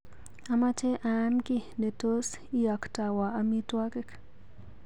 Amache aam kiiy netos iaktawa amitwogik.